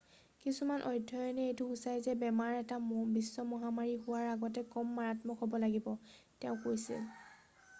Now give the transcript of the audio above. কিছুমান অধ্যয়নে এইটো সুচাই যে বেমাৰ এটা বিশ্ব মহামাৰী হোৱাৰ আগতে কম মাৰাত্মক হ'ব লাগিব তেওঁ কৈছিল